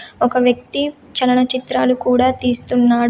ఒక వ్యక్తి చలనచిత్రాలు కూడా తీస్తున్నాడు.